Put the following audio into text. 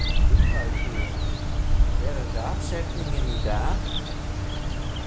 Gunnvaldur, hver er dagsetningin í dag?